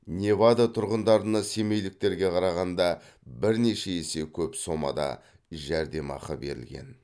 невада тұрғындарына семейліктерге қарағанда бірнеше есе көп сомада жәрдемақы берілген